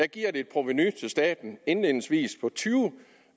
giver et provenu til staten indledningsvis på tyve